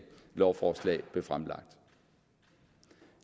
lovforslag blev fremsat